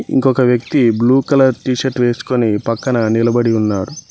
ఇంకొక వ్యక్తి blue colour T shirt వేసుకొని పక్కన నిలబడి ఉన్నారు.